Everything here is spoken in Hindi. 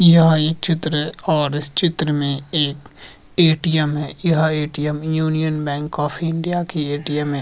यह एक चित्र है और इस चित्र में एक ए.टी.एम. है। यह ATM. Union bank of India की ए.टी.एम. है।